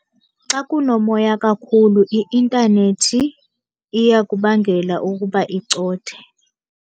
Xa kunomoya kakhulu i-intanethi iyakubangela ukuba icothe.